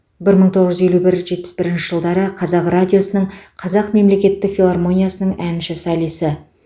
бір мың тоғыз жүз елу бір жетпіс бірінші жылдары қазақ радиосының қазақ мемлекеттік филармониясының әнші солисі